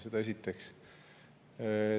Seda esiteks.